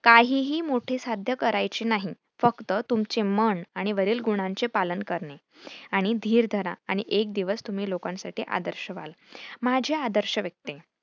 काहीही मोठे साध्य करायचे नाही फक्त तुमचे मन आणि वरील गुणांचे पालन करणे आणि धिर धरा आणि एक दिवस तुम्ही लोकांसाठी आदर्श व्हाल. माझे आदर्श व्यक्ती